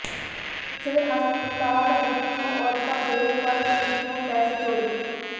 civil ਹਸਪਤਾਲ ਵਿੱਚੋਂ ਔਰਤਾਂ ਦੇ ਪਰਸ ਵਿੱਚੋਂ ਪੈਸੇ ਚੋਰੀ